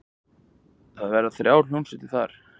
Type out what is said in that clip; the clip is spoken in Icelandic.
Það verða þrjár hljómsveitir þar.